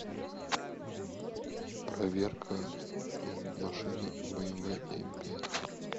проверка машины бмв м пять